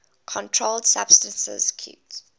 controlled substances acte